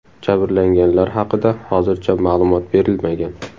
Jabrlanganlar haqida hozircha ma’lumot berilmagan.